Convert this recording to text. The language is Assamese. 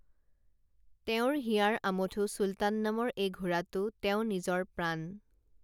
তেওঁৰ হিয়াৰ আমঠু চুলতান নামৰ এই ঘোঁৰাটো তেওঁ নিজৰ প্ৰাণ